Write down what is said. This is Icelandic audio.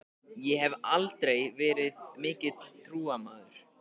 Ég hef aldrei verið mikill trúmaður.